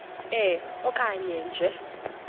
e okanye nge